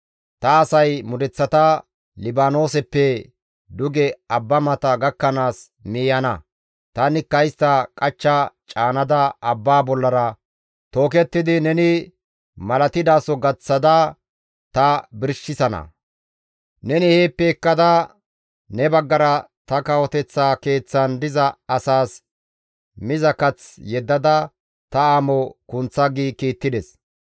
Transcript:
Ta asay mudeththata Libaanooseppe duge abba mata gakkanaas miiyana; tanikka istta qachcha caanada abbaa bollara tookettidi neni malatidaso gaththada ta birshisana; neni heeppe ekkada ne baggara ta kawoteththa keeththan diza asaas miza kath yeddada ta amo kunththa» gi kiittides.